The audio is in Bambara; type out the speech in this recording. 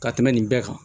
Ka tɛmɛ nin bɛɛ kan